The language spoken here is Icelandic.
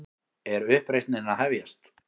Er uppreisnin að hefjast?